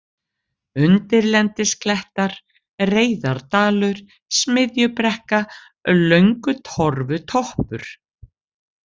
Undirlendisklettar, Reyðardalur, Smiðjubrekka, Löngutorfutoppur